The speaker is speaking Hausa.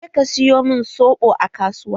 Je ka siyo min soɓo a kasuwa!